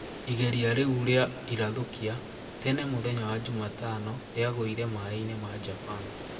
Igeria riu ria irathũkia tene mũthenya wa jumatano riagũire maeini ma Japan.